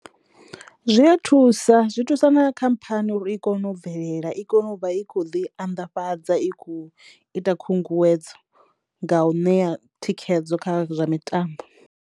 Zwi ya thusa zwi thusa na khamphani uri i kono u bvelela i kono u vha i khou ḓi anḓafhadza i khou ita khunguwedzo nga u ṋea thikhedzo kha zwa mitambo.